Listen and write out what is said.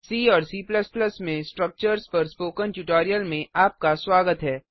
सी और C में Structuresस्ट्रक्चर्स पर स्पोकन ट्यूटोरियल में आपका स्वागत है